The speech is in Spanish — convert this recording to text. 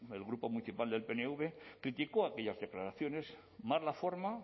el grupo municipal del pnv criticó aquellas declaraciones más la forma